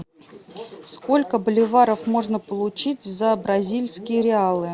сколько боливаров можно получить за бразильские реалы